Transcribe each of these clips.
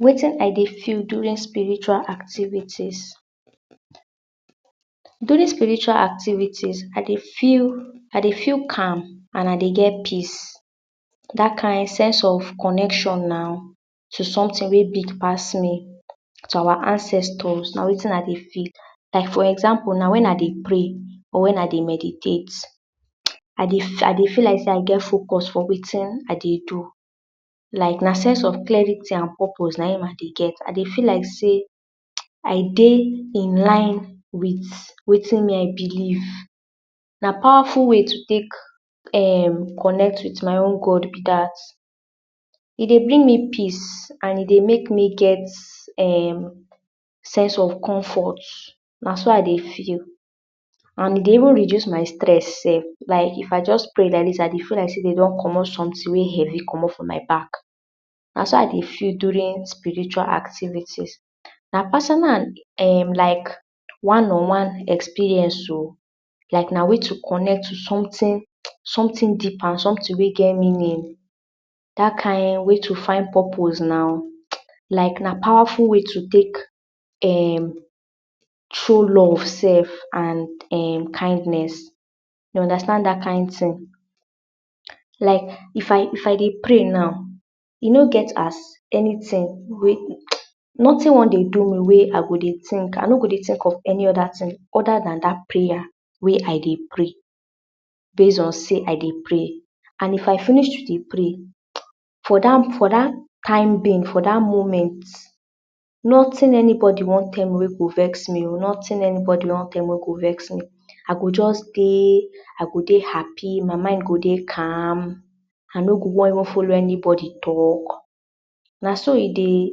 Wetin I dey feel during spiritual activities. During spiritual activities, I dey feel I dey feel calm and I dey get peace. dat kind sense of connection now someting wey big pass me so our ancestors. na wetin I dey feel for; example now wen I dey pray or wen I dey meditate, I dey feel like sey I get focus for wetin I dey do. I get sense of clarity and purpose; na him I dey get. I dey feel like sey I dey one with wetin I believe. na powerful way to take connect with my God. like dat e dey bring me peace and e dey make dem get um sense of comfort. na so I dey feel and e dey even reduce my stress like I just pray like dis I dey feel like sey dey don comot someting heavy from my back. na so I dey feel during spiritual activities my personal um like one on one experience oh. like my way to connect to someting deeper and dat ting wey get meaning and your way to find purpose na like na powerful way to take um show love self and dem kindness you understand dat kind ting, like if I dey pray now e no get as anyting wey noting wan dey do me wey I go dey tink of any other ting other than dat prayer wey I dey pray base on sey, I dey pray and If I finish to dey pray for dat moment, noting anybody wan tell me wey go vex me. noting anybody wan tell me I go just dey I go dey happy my mind go dey calm I no go wan follow anybody talk na so e dey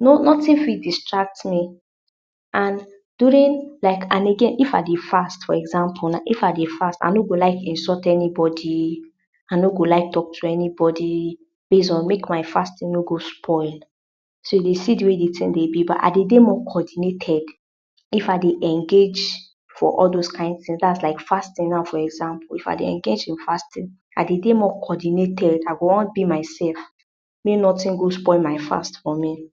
noting fit distract me and again if I dey fast for example now if I dey fast I no go like insult anybody. I no go like talk to anybody base on make my fasting no go spoil. I go dey more coordinated if I dey engage for all those kind tings dat na fasting now for example i dey dey more coordinated I go just dey myself make noting go spoil my fat for me.